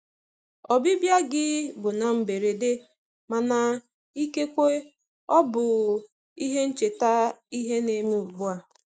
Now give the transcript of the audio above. Ọbịbịa gị bụ na mberede, mana ikekwe ọ bụ ihe ncheta ihe ne me ugbua.